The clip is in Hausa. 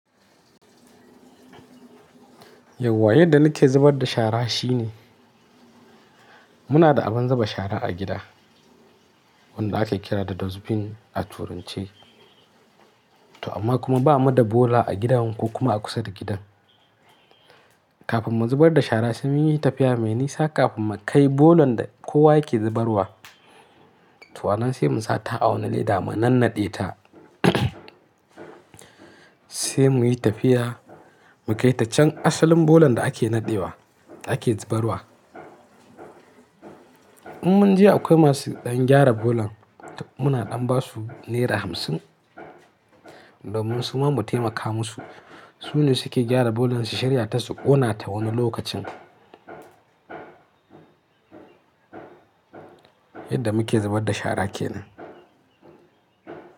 Yau wa yadda nike zubar da shara shine, muna da abin zuba shara a gida wanda ake kira da dustbin a turanche. To amma kuma bamu da bola a gidan ko kuma a kusa da gidan. Kafin mu zubar da shara sai muyi tafiya mai nisa kafin mu kai bolan da kowa yake zubarwa. To anan sai mun sata a wani leda mu nanade ta. Sai muyi tafiya mu kai ta can asalin bolan da ake nadewa ake zubarwa. In munje akwai masu gyara bolan, muna damba su naira hamsin domin su ma mu taimaka musu. Su ne suke gyara bolan su shari'a ta su ƙona ta wani lokacin. Yadda muke zubar da shara kenan.